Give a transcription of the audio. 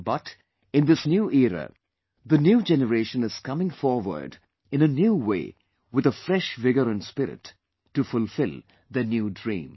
But, in this new era, the new generation is coming forward in a new way with a fresh vigour and spirit to fulfill their new dream